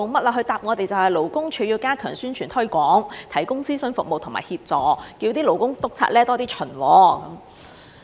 他回答我們說，勞工處要加強宣傳推廣，提供諮詢服務和協助，叫勞工督察多些巡察。